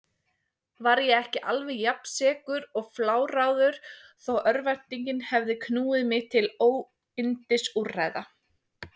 Var ég ekki alveg jafnsekur og fláráður þó örvæntingin hefði knúið mig til óyndisúrræða?